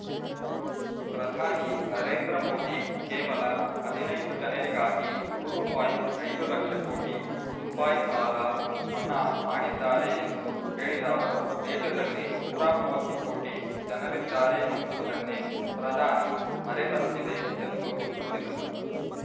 ಪ್ರಧಾನಿ ನರೇಂದ್ರ ಮೋದಿ ಕೇವಲ ಹದಿನೈದು ಜನರಿಗಾಗಿ ಮೂರು ಪಾಯಿಂಟ್ ಐದು ಲಕ್ಷ ಕೋಟಿ ರೂಪಾಯಿ ಸಾಲ ಮನ್ನಾ ಮಾಡಿದ್ದಾರೆ ಎಂದು ಹೇಳಿದ ಅವರು ದೇಶದಲ್ಲಿ ನೂರ ಮೂವತ್ತು ಕೋಟಿ ಜನರಿದ್ದಾರೆ ಎನ್ನುವುದನ್ನೇ ಪ್ರಧಾನಿ ಮರೆತಂತಿದೆ ಎಂದು ದೂರಿದರು